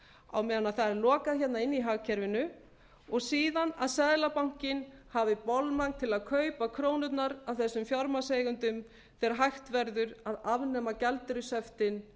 á meðan það er lokað hérna inni í hagkerfinu og síðan að seðlabankinn hafi bolmagn til að kaupa krónurnar af þessum fjármagnseigendum þegar hægt verður að afnema gjaldeyrishöftin